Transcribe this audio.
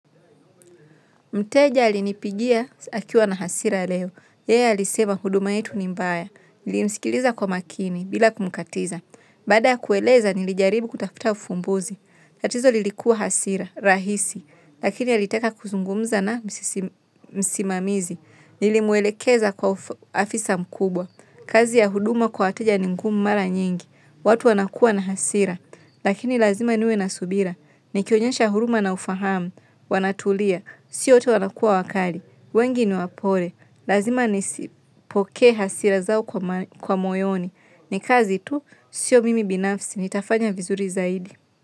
Mteja alinipigia akiwa na hasira leo. Yeye alisema huduma yetu ni mbaya. Nilimsikiliza kwa makini bila kumkatiza. Baada ya kueleza nilijaribu kutafuta ufumbuzi. Tatizo lilikuwa hasira, rahisi. Lakini alitaka kuzungumza na msimamizi. Nilimwelekeza kwa afisa mkubwa. Kazi ya huduma kwa wateja ni ngumu mara nyingi. Watu wanakuwa na hasira. Lakini lazima niwe na subira. Nikionyesha huruma na ufahamu wanatulia. Sio wote wanakua wakali, wengi ni wapole, lazima nizipokee hasira zao kwa moyoni. Ni kazi tu, sio mimi binafsi, nitafanya vizuri zaidi.